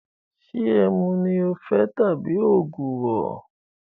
Ṣé ẹmu ni o fẹ tabi ògùrọ̀?